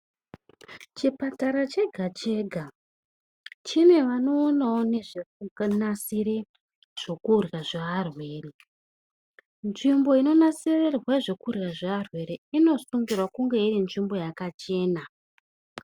Chipatara chega-chega chine vanoonavo nezvekunasira zvokurya zvearwere. Nzvimbo inonasirirwa zvekurya zvearwere inosungirwe kunge iri nzvimbo yakachena.